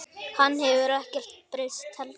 Hann hefur ekkert breyst heldur.